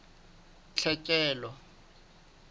tlhekelo